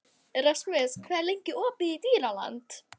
Rasmus, hvað er lengi opið í Dýralandi?